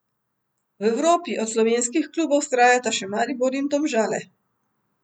V Evropi od slovenskih klubov vztrajata še Maribor in Domžale.